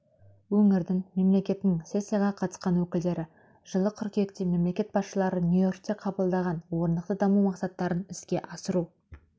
өңірдің мемлекетінің сессияға қатысқан өкілдері жылы қыркүйекте мемлекет басшылары нью-йоркте қабылдаған орнықты даму мақсаттарын іске асыру